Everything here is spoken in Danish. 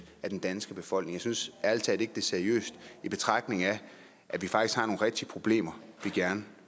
af den danske befolkning jeg synes ærlig talt ikke det er seriøst i betragtning af at vi faktisk har nogle rigtige problemer vi gerne